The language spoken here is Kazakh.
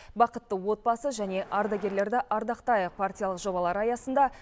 бақытты отбасы және ардагерлерді ардақтайық партиялық жобалары аясында